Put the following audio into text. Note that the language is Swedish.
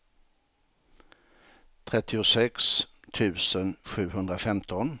trettiosex tusen sjuhundrafemton